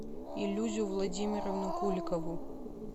илюзу владимировну куликову